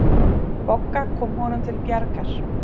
Bogga kom honum til bjargar.